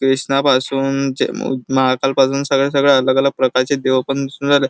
कृष्णापासून चे महाकाल पासून सगळ्या सगळ्या अलग अलग प्रकारचे देव पणदिसून राहले.